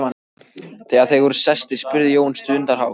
Þegar þeir voru sestir spurði Jón stundarhátt